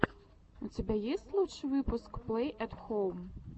у тебя есть лучший выпуск плэй эт хоум